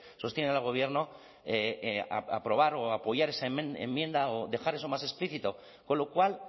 sostienen al gobierno aprobar o apoyar esa enmienda o dejar eso más explícito con lo cual